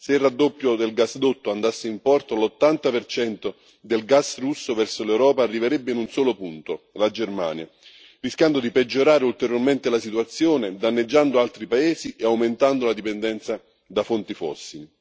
Se il raddoppio del gasdotto andasse in porto, l'80 del gas russo verso l'Europa arriverebbe in un solo punto, la Germania, rischiando di peggiorare ulteriormente la situazione, danneggiando altri paesi e aumentando la dipendenza da fonti fossili.